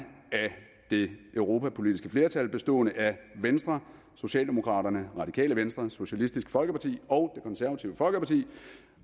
det europapolitiske flertal bestående af venstre socialdemokraterne radikale venstre socialistisk folkeparti og konservative folkeparti